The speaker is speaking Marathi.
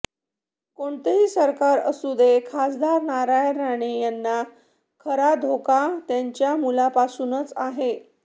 कोणतेही सरकार असू दे खासदार नारायण राणे यांना खरा धोका त्यांच्या मुलांपासूनच आहे